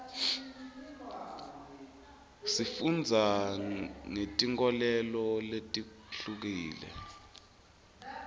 sifundza ngeti nkholelo letihlukile